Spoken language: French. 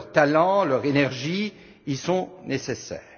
leur talent, leur énergie y sont nécessaires.